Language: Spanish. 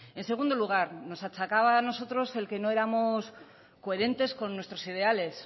en segundo lugar nos achacaba a nosotros el que no éramos coherentes con nuestros ideales